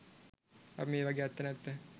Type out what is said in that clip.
අපි මේවගේ ඇත්ත නැත්ත